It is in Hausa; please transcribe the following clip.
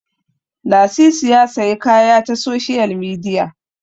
Lasisi ya sayi kaya ta soshiyal midiya